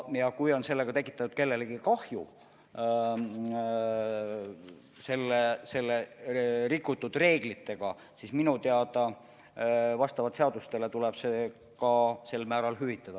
Ja kui nende valede reeglitega on kellelegi kahju tekitatud, siis minu teada vastavalt seadustele tuleb see ka sel määral hüvitada.